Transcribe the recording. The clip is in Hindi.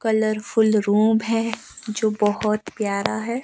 कलरफुल रुम है जो बहुत प्यारा है।